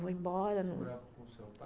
Você morava com o seu pai?